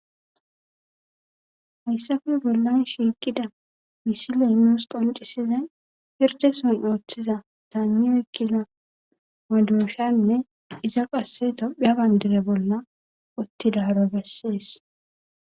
Hayssafe bollan shiiqida misi leynuus qoncisizay pirde son ooththiza daanni oykkiza wadooshanne iza qasse tophia bandire bolla uttidaro bessees.